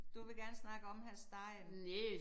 Du vil gerne snakke om Hr. Stein